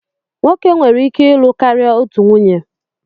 Nwoke nwere ike ịlụ karịa otu nwunye